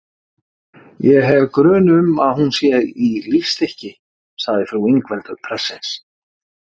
Ég hef grun um að hún sé í lífstykki, sagði frú Ingveldur prestsins.